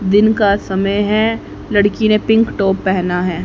दिन का समय है लड़की ने पिंक टॉप पेहना है।